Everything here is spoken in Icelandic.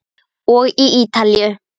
Og Ítalíu.